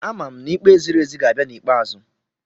Amam n'ikpe ziri ezi ga-abịa n'ikpeazụ.